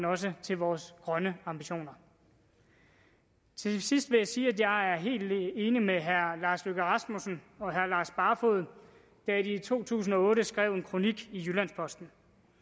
også til vores grønne ambitioner til sidst vil jeg sige at jeg er helt enig med herre lars løkke rasmussen og herre lars barfoed da de i to tusind og otte skrev i en kronik i jyllands posten